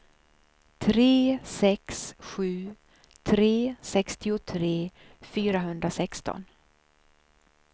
tre sex sju tre sextiotre fyrahundrasexton